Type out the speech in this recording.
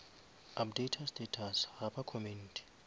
updata status ga ba commente